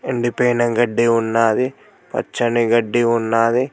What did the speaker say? ఎండిపోయిన గడ్డి ఉన్నాది పచ్చని గడ్డి ఉన్నాది.